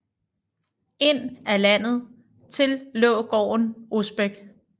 Ind ad landet til lå gården Osbæk